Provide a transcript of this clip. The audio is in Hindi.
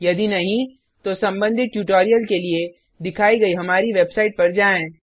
यदि नहीं तो संबंधित ट्यूटोरिल के लिए दिखाइ गई हमारी वेबसाइट पर जाएँ